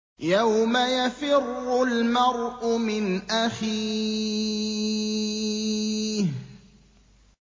يَوْمَ يَفِرُّ الْمَرْءُ مِنْ أَخِيهِ